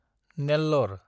नेल्लरे